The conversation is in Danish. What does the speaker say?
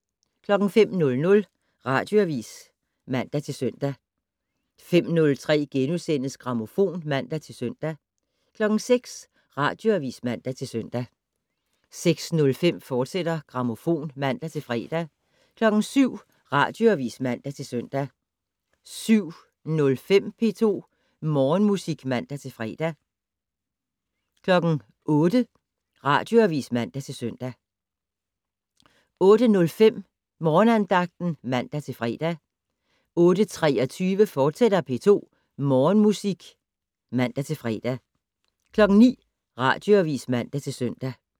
05:00: Radioavis (man-søn) 05:03: Grammofon *(man-søn) 06:00: Radioavis (man-søn) 06:05: Grammofon, fortsat (man-fre) 07:00: Radioavis (man-søn) 07:05: P2 Morgenmusik (man-fre) 08:00: Radioavis (man-søn) 08:05: Morgenandagten (man-fre) 08:23: P2 Morgenmusik, fortsat (man-fre) 09:00: Radioavis (man-søn)